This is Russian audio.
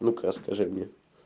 ну-ка расскажи мне